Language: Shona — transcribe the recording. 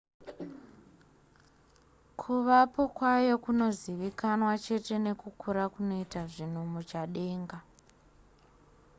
kuvapo kwayo kunongozivikanwa chete nekukura kunoita zvinhu muchadenga